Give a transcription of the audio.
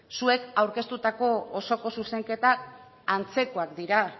zuek aurkeztutako osoko zuzenketak antzekoak dira